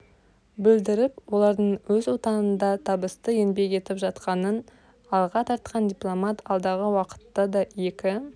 білдіріп олардың өз отанында табысты еңбек етіп жатқанын алға тартқан дипломат алдағы уақытта да екі